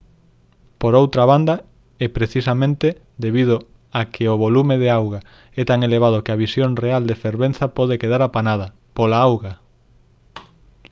por outra banda é precisamente debido a que o volume de auga é tan elevado que a visión real da fervenza pode quedar apanada pola auga!